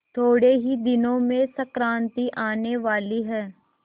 थोड़े ही दिनों में संक्रांति आने वाली है